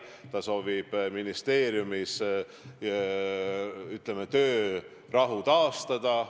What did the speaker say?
Ta soovib ministeeriumis töörahu taastada.